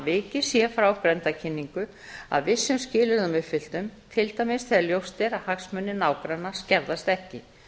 vikið sé frá grenndarkynningu að vissum skilyrðum uppfylltum til dæmis þegar ljóst er að hagsmunir nágranna skerðast ekki